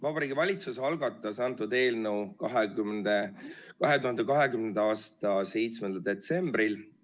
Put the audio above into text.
Vabariigi Valitsus algatas antud eelnõu 2020. aasta 7. detsembril.